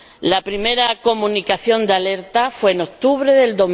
La primera comunicación de alerta fue en octubre de